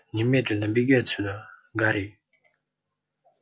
немедленно беги отсюда гарри